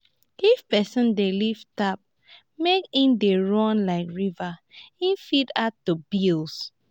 if person dey leave tap make e dey run like river e fit add to bills